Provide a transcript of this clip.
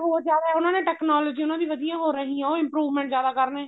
ਹੋਰ ਜਿਆਦਾ ਉਹਨਾ ਨੇ technology ਉਹਨਾ ਦੀ ਵਧੀਆ ਹੋ ਰਹੀ ਹੈ ਉਹ improvement ਜਿਆਦਾ ਕਰਨੇ